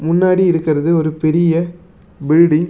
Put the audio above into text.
முன்னாடி இருக்கறது ஒரு பெரிய பில்டிங் .